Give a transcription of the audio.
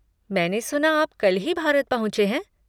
मैंने सुना आप कल ही भारत पहुँचे हैं।